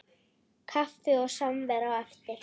Kaffi og samvera á eftir.